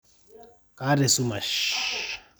kaata esumash